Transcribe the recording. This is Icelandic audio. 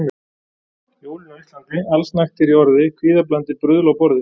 Jólin á Íslandi: Allsnægtir í orði, kvíðablandið bruðl á borði.